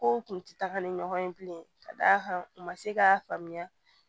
Kow kun ti taga ni ɲɔgɔn ye bilen ka d'a kan u ma se k'a faamuya